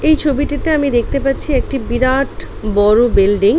এই ছবিটিতে আমি দেখতে পাচ্ছি একটি বিরাট-অ বড় বিল্ডিং ।